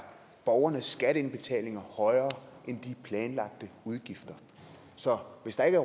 borgernes skatteindbetalinger højere end de planlagte udgifter så hvis der ikke